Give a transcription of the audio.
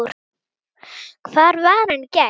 Hvar var hann í gær?